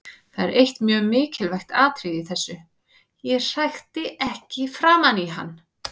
Það er eitt mjög mikilvægt atriði í þessu: Ég hrækti ekki framan í hann.